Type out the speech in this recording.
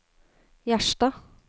Gjerstad